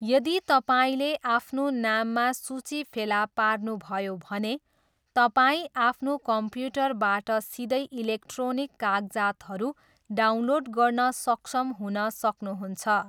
यदि तपाईँले आफ्नो नाममा सूची फेला पार्नुभयो भने, तपाईँ आफ्नो कम्प्युटरबाट सिधै इलेक्ट्रोनिक कागजातहरू डाउनलोड गर्न सक्षम हुन सक्नुहुन्छ।